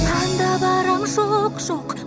анда барам жоқ жоқ